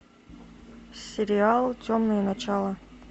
сериал темные начала